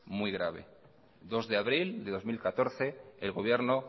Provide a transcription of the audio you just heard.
muy grave bi de abril de bi mila hamalau el gobierno